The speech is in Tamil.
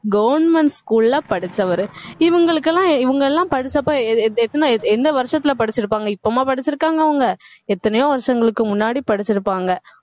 government school ல படிச்சவரு இவங்களுக்கெல்லாம் இவங்க எல்லாம் படிச்சப்ப எத்~ எத்தனை எந்த வருஷத்துல படிச்சிருப்பாங்க இப்பவுமா படிச்சிருக்காங்க அவங்க எத்தனையோ வருஷங்களுக்கு முன்னாடி படிச்சிருப்பாங்க